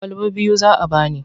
Kwalaba biyu za a ba ni.